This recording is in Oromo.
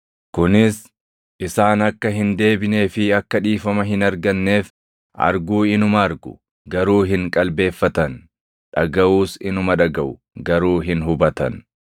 kunis, “ ‘Isaan akka hin deebinee fi akka dhiifama hin arganneef, arguu inuma argu, garuu hin qalbeeffatan; dhagaʼuus inuma dhagaʼu, garuu hin hubatan.’ + 4:12 \+xt Isa 6:9,10\+xt* ”